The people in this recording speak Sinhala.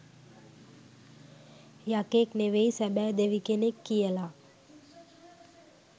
යකෙක් නෙවෙයි සැබැ දෙවි කෙනෙක් කියලා